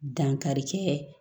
Dankari kɛ